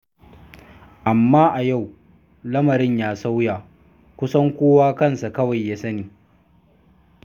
Amma a yau, lamarin ya sauya, kusan kowa kansa kawai ya sani.